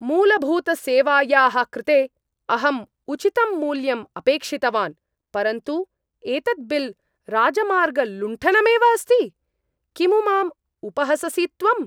मूलभूतसेवायाः कृते अहम् उचितं मूल्यम् अपेक्षितवान्, परन्तु एतत् बिल् राजमार्गलुण्ठनमेव अस्ति! किमु माम् उपहससि त्वम्?